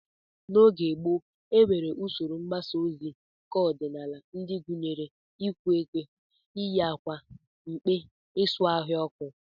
N'oge gboo, e nwere usoro mgbasa ozi keọdịnala ndị gụnyere iku ekwe, iyi akwa mkpe, isu ọhịa ọkụ